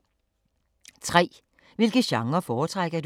3) Hvilke genrer foretrækker du?